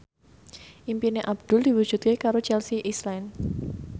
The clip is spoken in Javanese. impine Abdul diwujudke karo Chelsea Islan